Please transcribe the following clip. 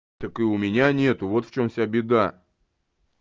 так и у меня нет вот в чём вся беда